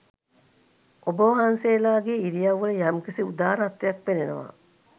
ඔබවහන්සේලාගේ ඉරියව්වල යම්කිසි උදාරත්වයක් පෙනෙනවා.